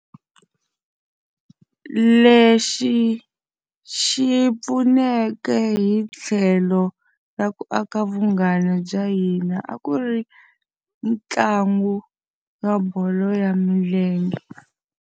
Lexi xi pfuneke hi tlhelo ra ku aka vunghana bya hina a ku ri ntlangu wa bolo ya milenge.